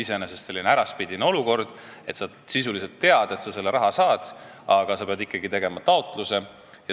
Iseenesest on see selline äraspidine olukord, kus sa sisuliselt tead, et sa selle raha saad, aga sa pead ikkagi tegema taotluse.